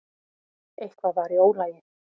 Eitthvað var í ólagi.